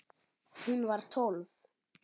Hún var tólf.